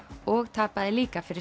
og tapaði líka fyrir